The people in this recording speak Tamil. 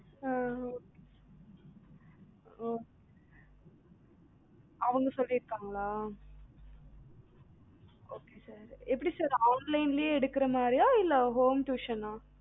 ஆஹ் அஹ் ஓ அவங்க சொலிருக்கங்களா? okay sir எப்படி sir online லேயே எடுக்குற மாதிரியா இல்ல home tuition ஆ